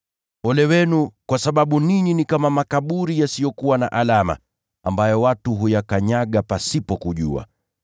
“Ole wenu, kwa sababu ninyi ni kama makaburi yasiyokuwa na alama, ambayo watu huyakanyaga pasipo kujua.”